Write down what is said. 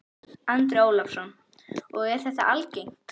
Andri Ólafsson: Og er þetta algengt?